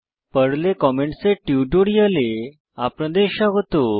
পর্লে comments comments এর টিউটোরিয়ালে আপনাদের স্বাগত